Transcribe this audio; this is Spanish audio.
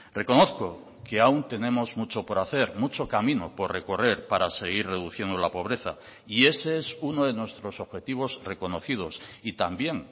reconozco que aún tenemos mucho por hacer mucho camino por recorrer para seguir reduciendo la pobreza y ese es uno de nuestros objetivos reconocidos y también